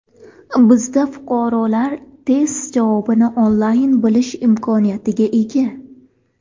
Bizda fuqarolar test javobini onlayn bilish imkoniyatiga ega.